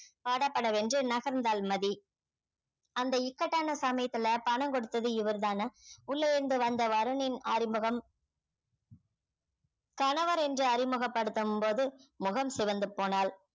படபட வென்று நகர்ந்தாள் மதி அந்த இக்கட்டான சமயத்துல பணம் கொடுத்தது இவரு தான்னு உள்ள இருந்து வந்த வருணின் அறிமுகம் கணவர் என்று அறிமுகப்படுத்தும்போது முகம் சிவந்து போனாள்